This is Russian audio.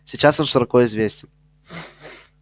сейчас он широко известен